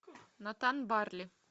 натан барли